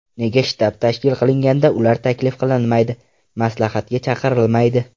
Nega shtab tashkil qilinganda ular taklif qilinmaydi, maslahatga chaqirilmaydi?